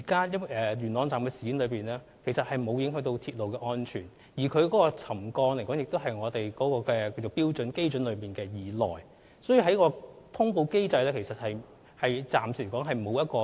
元朗站事件其實沒有影響鐵路安全，橋躉沉降幅度亦在標準基準以內，所以，根據通報機制是無需作出通報的。